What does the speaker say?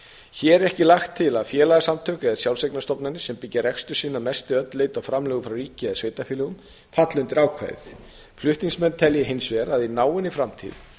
hér er ekki lagt til að félagasamtök eða sjálfseignarstofnanir sem byggja rekstur sinn að mestu eða öllu leyti á framlögum frá ríki eða sveitarfélögum falli undir ákvæðið flutningsmenn telja hins vegar að í náinni framtíð